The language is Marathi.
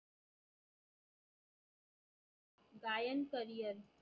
गायन career